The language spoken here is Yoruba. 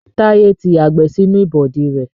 Táyé ti yàgbẹ́ sínú ìbọ̀dí rẹ